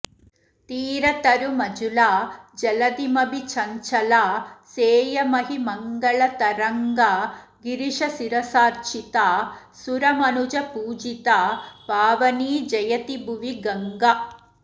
तीरतरुमजुला जलधिमभि चञ्चला सेयमहिमङ्गलतरङ्गा गिरिशशिरसार्चिता सुरमनुजपूजिता पावनी जयति भुवि गङ्गा